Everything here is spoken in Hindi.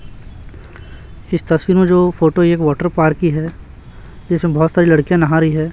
इस तस्वीर में जो फोटो एक वाटर पार्क की है जिसमें बहोत सारी लड़कियां नहा रही है।